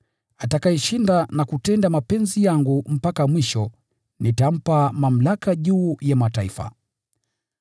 “Atakayeshinda na kutenda mapenzi yangu mpaka mwisho, nitampa mamlaka juu ya mataifa: